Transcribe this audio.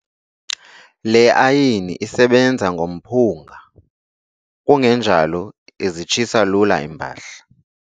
Le ayini isebenza ngomphunga kungenjalo izitshisa lula iimpahla.